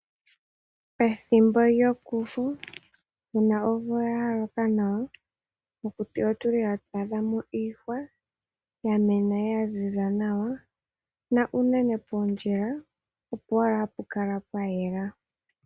Ethimbo lyokufu una omvula yaloka nawa, mokuti otuli hatu adha mo iihwa yamena yaziza nawa na unene puundjila opo owala hapu kala pwayela.